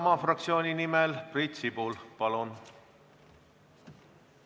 Isamaa fraktsiooni nimel Priit Sibul, palun!